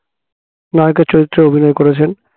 নায়কের চরিত্রে অভিনয় করেছেন